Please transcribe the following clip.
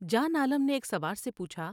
جان عالم نے ایک سوار سے پوچھا ۔